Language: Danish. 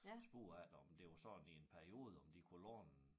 Spurgte efter om det var sådan i en periode om de kunne låne